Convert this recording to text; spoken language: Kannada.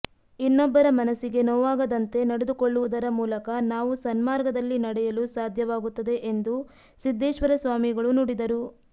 ಇನ್ನೊಬ್ಬರ ಮನಸ್ಸಿಗೆ ನೋವಾಗದಂತೆ ನಡೆದುಕೊಳ್ಳುವುದರ ಮೂಲಕ ನಾವು ಸನ್ಮಾರ್ಗದಲ್ಲಿ ನಡೆಯಲು ಸಾಧ್ಯವಾಗುತ್ತದೆ ಎಂದು ಸಿದ್ದೇಶ್ವರ ಸ್ವಾಮಿಗಳು ನುಡಿದರು